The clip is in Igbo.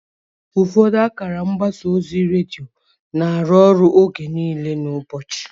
Ụfọdụ akara mgbasa ozi redio na-arụ ọrụ oge niile n'ụbọchị.